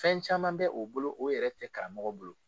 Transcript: Fɛn caman bɛ o bolo o yɛrɛ tɛ karamɔgɔ bolo